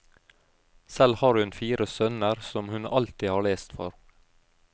Selv har hun fire sønner som hun alltid har lest for.